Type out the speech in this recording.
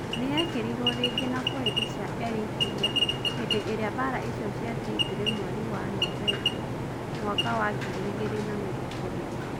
Niyekerirwo ringi na borithi cia Eritrea hindi iria mbara icio cia Tigray mweri wa Novemba 2020